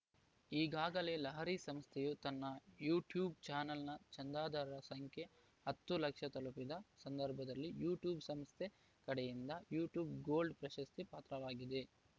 ಈಗಾಗಲೇ ಲಹರಿ ಸಂಸ್ಥೆಯು ತನ್ನ ಯುಟ್ಯೂಬ್‌ ಚಾನೆಲ್‌ನ ಚಂದಾದಾರರ ಸಂಖ್ಯೆ ಹತ್ತು ಲಕ್ಷ ತಲುಪಿದ ಸಂದರ್ಭದಲ್ಲಿ ಯುಟ್ಯೂಬ್‌ ಸಂಸ್ಥೆ ಕಡೆಯಿಂದ ಯುಟ್ಯೂಬ್‌ ಗೋಲ್ಡ್‌ ಪ್ರಶಸ್ತಿಗೆ ಪಾತ್ರವಾಗಿದೆ